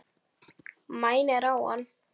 Mænir á hann.